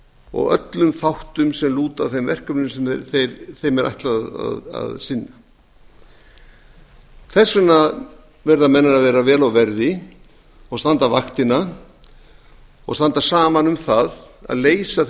og öllum þáttum sem lúta að þeim verkefnum sem þeim er ætlað að sinna þess vegna verða menn að vera vel á verði og standa vaktina og standa saman um það að leysa þau